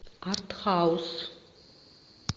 артхаус